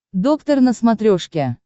доктор на смотрешке